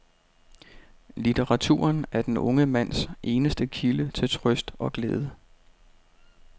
Litteraturen er den unge mands eneste kilde til trøst og glæde.